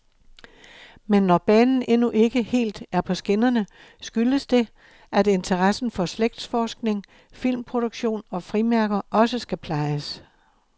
Men når banen endnu ikke helt er på skinnerne, skyldes det, at interessen for slægtsforskning, filmproduktion og frimærker også skal plejes.